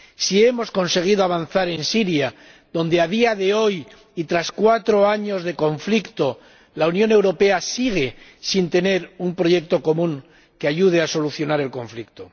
si hemos conseguido avanzar en Siria, donde a día de hoy y tras cuatro años de conflicto, la Unión Europea sigue sin tener un proyecto común que ayude a solucionar el conflicto.